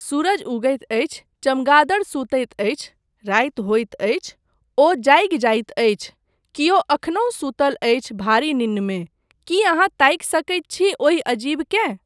सूरज उगैत अछि, चमगादड़ सुतैत अछि, राति होइत अछि, ओ जागि जाइत अछि, केओ एखनहुँ सुतल अछि भारी निन्नमे, की अहाँ ताकि सकैत छी ओहि अजीबकेँ?